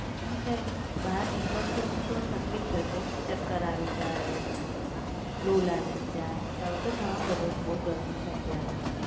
હા એટલે બહાર નિકળશો તો તકલીફ થશે. ચક્કર આવી જાય અને લૂ લાગી જાય, ને તડકો ઘણો બધો છે અને બહુ ગરમી છે અત્યારે.